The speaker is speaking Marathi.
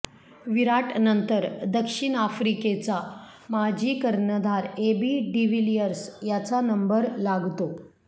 विराटनंतर दक्षिण आफ्रिकेचा माजी कर्णधार एबी डीव्हीलिअर्स याचा नंबर लागतो